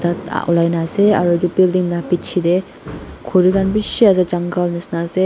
olai na ase aro edu building la pichae tae khuri khan bishi ase jungle nishina ase.